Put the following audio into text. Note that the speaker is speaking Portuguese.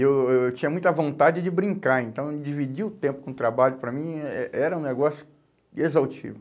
Eu eu eu tinha muita vontade de brincar, então dividir o tempo com o trabalho, para mim, eh eh era um negócio exaustivo.